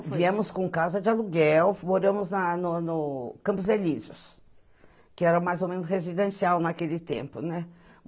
É, viemos com casa de aluguel, moramos na no no Campos Elísios, que era mais ou menos residencial naquele tempo, né?